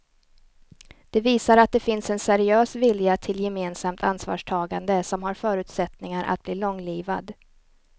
Det visar att det finns en seriös vilja till gemensamt ansvarstagande som har förutsättningar att bli långlivad.